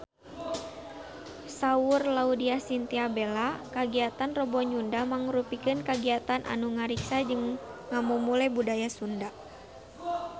Saur Laudya Chintya Bella kagiatan Rebo Nyunda mangrupikeun kagiatan anu ngariksa jeung ngamumule budaya Sunda